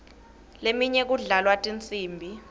leminye kudlalwa tinsimbi